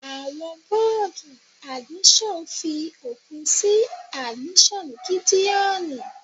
Àwọn bọ́ọ̀dù admission fi òpin sí admission Gídéoni.